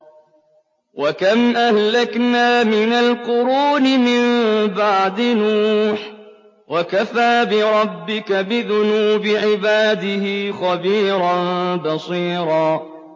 وَكَمْ أَهْلَكْنَا مِنَ الْقُرُونِ مِن بَعْدِ نُوحٍ ۗ وَكَفَىٰ بِرَبِّكَ بِذُنُوبِ عِبَادِهِ خَبِيرًا بَصِيرًا